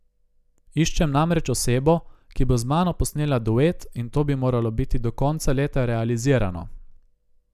Iščem namreč osebo, ki bo z mano posnela duet, in to bi moralo biti do konca leta realizirano.